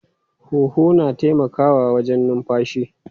Huhu na taimakawa wajen numfashi.